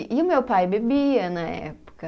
E o meu pai bebia na época.